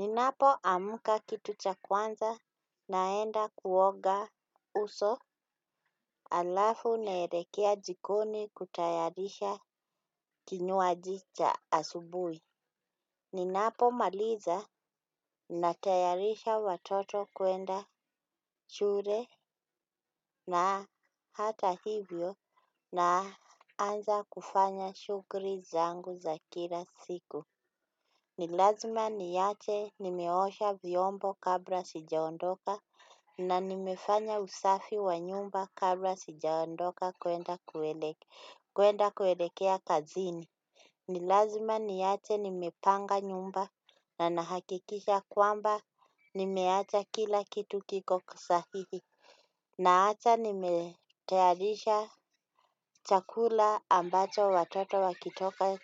Ninapoamka kitu cha kwanza naenda kuoga uso halafu naelekea jikoni kutayarisha kinywaji cha asubuhi. Ninapomaliza natayarisha watoto kwenda shule na hata hivyo naanza kufanya shughuli zangu za kila siku. Ni lazima niache nimeosha vyombo kabla sijaondoka na nimefanya usafi wa nyumba kabla sijaondoka kwenda kuelekea kazini. Ni lazima niache nimepanga nyumba na nahakikisha kwamba nimeacha kila kitu kiko sahihi. Naacha nimetayarisha chakula ambacho watoto wakitoka